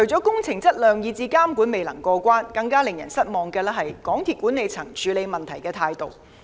工程質量以至監管未能過關之餘，更令人失望的是港鐵公司管理層處理問題的態度。